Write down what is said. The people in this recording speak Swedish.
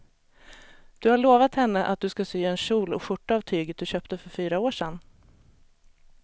Du har lovat henne att du ska sy en kjol och skjorta av tyget du köpte för fyra år sedan.